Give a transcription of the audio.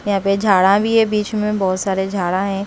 यहाँ पे झाड़ा भी है बीच में बहुत सारे झाड़ा हैं।